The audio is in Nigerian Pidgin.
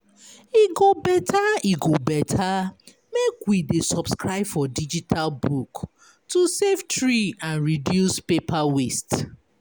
E go better E go better make we dey subscribe for digital book to save tree and reduce paper waste.